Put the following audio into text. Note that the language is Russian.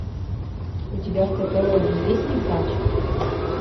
у тебя в каталоге есть нюхач